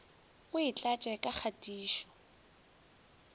o e tlatše ka kgatišo